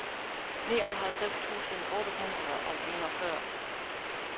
nioghalvtreds tusind otte hundrede og enogfyrre